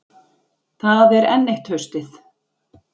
Það er enn eitt haustið.